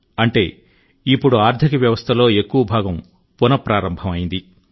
అంటే ఇప్పుడు ఆర్థిక వ్యవస్థలో ఎక్కువ భాగం పునఃప్రారంభం అయింది